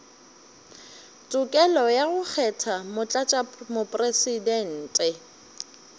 tokelo ya go kgetha motlatšamopresidente